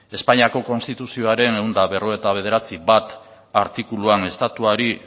espainiako konstituzioaren ehun eta berrogeita bederatzi puntu bat artikuluan estatuari